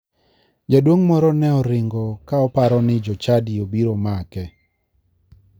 Jaduong' moro ne oringo ka oparo ni jochadi obiro make.